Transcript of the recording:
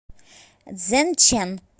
цзэнчэн